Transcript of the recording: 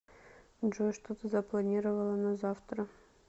джой что ты запланировала на завтра